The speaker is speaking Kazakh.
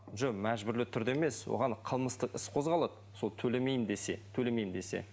жоқ мәжбүрлі түрде емес оған қылмыстық іс қозғалады сол төлемеймін десе төлемеймін десе